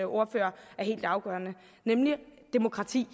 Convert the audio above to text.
ordfører er helt afgørende nemlig demokrati